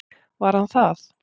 Var hann það?